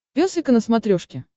пес и ко на смотрешке